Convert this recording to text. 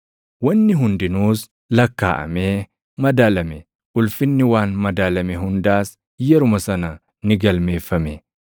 Wanni hundinuus lakkaaʼamee madaalame; ulfinni waan madaalame hundaas yeruma sana ni galmeeffame.